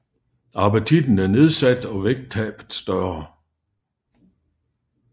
Appetitten er nedsat og vægttabet større